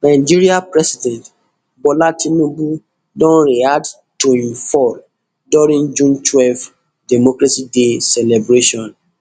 nigeria president bola tinubu don react to im fall during june twelve democracy day celebration